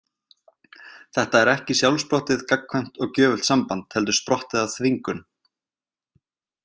Þetta er ekki sjálfsprottið, gagnkvæmt og gjöfult samband heldur sprottið af þvingun.